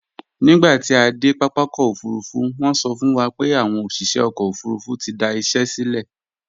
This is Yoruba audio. Nígbà tí a dé pápákọ̀ òfurufú, wọ́n sọ fún wa pé àwọn òṣìṣẹ́ ọkọ̀ òfurufú ti da iṣẹ sílẹ̀